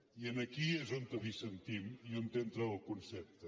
i aquí és on dissentim i on entra el concepte